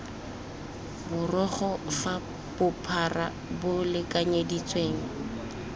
borogo fa bophara bo lekanyeditsweng